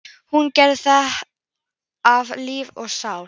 Hún gerði þetta af lífi og sál.